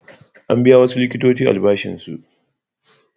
An biya wasu likitoci albashinsu.